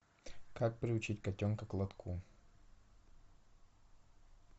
как приучить котенка к лотку